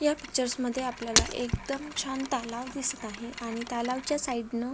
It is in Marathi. या पिक्चर्स मध्ये आपल्याला एकदम छान तालाव दिसत आहे आणि तालाव च्या साइड न--